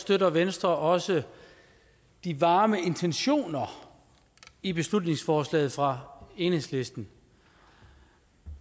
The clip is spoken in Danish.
støtter venstre også de varme intentioner i beslutningsforslaget fra enhedslisten